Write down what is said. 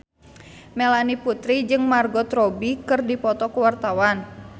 Melanie Putri jeung Margot Robbie keur dipoto ku wartawan